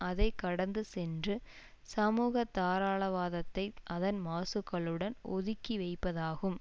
அதை கடந்து சென்று சமூக தாராளவாதத்தை அதன் மாசுகளுடன் ஒதுக்கி வைப்பதாகும்